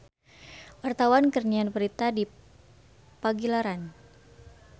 Wartawan keur nyiar berita di Pagilaran